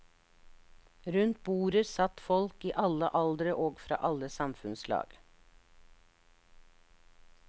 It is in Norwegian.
Rundt bordet satt folk i alle aldre og fra alle samfunnslag.